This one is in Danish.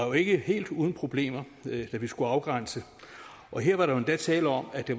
jo ikke helt uden problemer da vi skulle afgrænse og her var der jo endda tale om at det